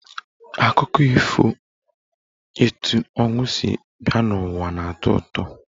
Akụkọ ifo etu ọnwụ si bịa n'ụwa na-atọ ụtọ.